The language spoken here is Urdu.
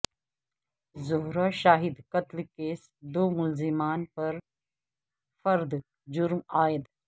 زہرہ شاہد قتل کیس دو ملزمان پر فرد جرم عائد